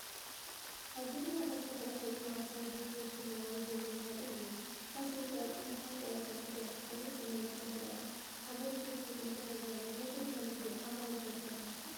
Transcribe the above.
ኣብ ጎደናታት ዝረአ ትርኢት መዓልታዊ ህይወት ወኪል ሞባይል ገንዘብ ዘርኢን እዩ! እታ ሰበይቲ ኣብ ቅድሚ ሓንቲ ኣብ ወሰን ጽርግያ እትርከብ ንእሽቶ መደበር ኮፍ ኢላ። ኣገልግሎት ትህብ ከምዘላ ዘርኢ እዩ። ናይ ጎደና ንግዲ ዓማዊል ዶ ትረክብ ትኾን?